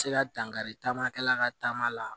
Se ka dankari taama kɛla ka taama la